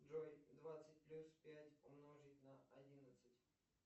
джой двадцать плюс пять умножить на одиннадцать